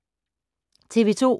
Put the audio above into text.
TV 2